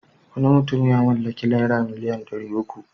Wani mutum ya mallaki naira biliyan ɗari uku.